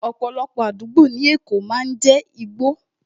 Ọ̀pọ̀lọpọ̀ àdúgbò ní èkó máa ń jé igbó